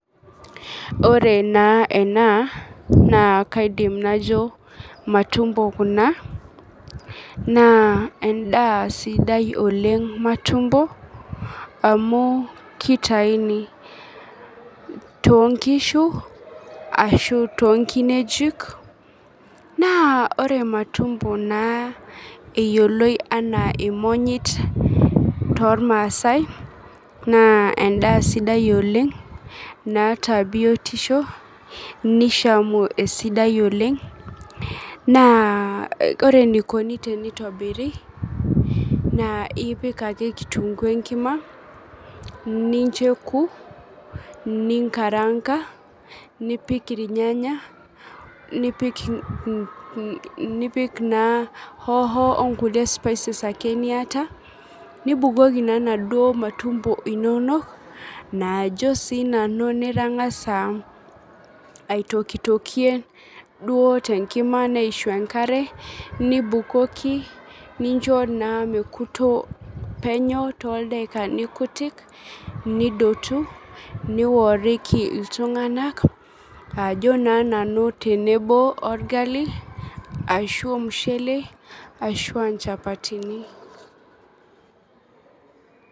Oore naa eena naa kaidim naajo matumbo kuuna, naa en'daa sidai oleng matumbo, amuu keitauni too nkishu, arashu tonkinejik, naa oore matumbo naa eyioloi enaa imonyit, tormaasae naa en'daa sidai oleng, naata biotisho, neishamu esidai oleng, na oore eneikoni teneitobiri, naa ipik aake kitunguu enkima, nincho eoku, ninkaraanka, nipik irnyanya, nipik naa hoho onkulie spices aake niata, nibukoki naa inaduoo matumbo inonok, naajo sinanu nitang'asa aitokitokie, duo tenkima neishu enkare, nibukoki nincho naa mekuto penyo toldakikani kutik, nidotu, niworiki iltung'anak, aajo na nanu tenebo orgali, arashu ormushele, arashu aa inchapatini.